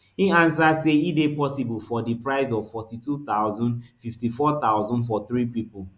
e answer say e dey possible for di price of forty-two thousand fifty-four thousand for three pipo